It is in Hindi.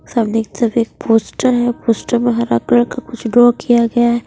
सब देख एक पोस्टर है पोस्टर में हरा कलर का कुछ ड्रॉ किया गया है।